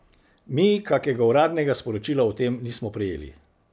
Mi kakega uradnega sporočila o tem nismo prejeli.